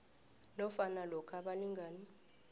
nofana lokha abalingani